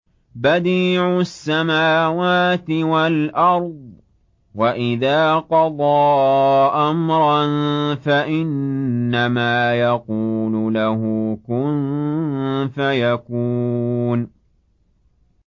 بَدِيعُ السَّمَاوَاتِ وَالْأَرْضِ ۖ وَإِذَا قَضَىٰ أَمْرًا فَإِنَّمَا يَقُولُ لَهُ كُن فَيَكُونُ